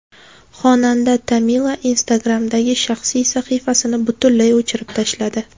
Xonanda Tamila Instagram’dagi shaxsiy sahifasini butunlay o‘chirib tashladi.